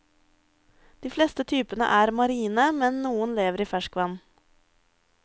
De fleste typene er marine, men noen lever i ferskvann.